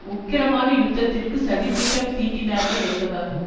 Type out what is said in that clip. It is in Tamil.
உக்கிரமான யுத்தத்துக்கு சதி திட்டம் தீட்டினார்கள் என்பதாகும்